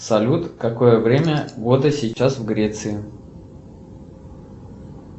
салют какое время года сейчас в греции